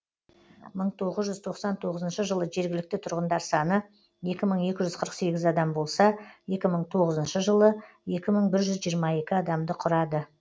мың тоғыз жүз тоқсан тоғызыншы жылы жергілікті тұрғындар саны екі мың екі жүз қырық сегіз адам болса екі мың тоғызыншы жылы екі мың бір жүз жиырма екі адамды құрады